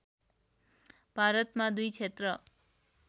भारतमा दुई क्षेत्र